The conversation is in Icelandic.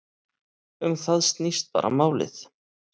Um það snýst bara málið.